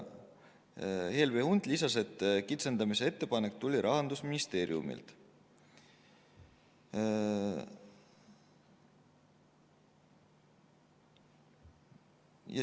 Helve Hunt lisas, et kitsendamise ettepanek tuli Rahandusministeeriumilt.